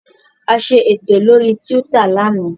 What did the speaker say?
A ṣe ètò lórí Twitter lánàá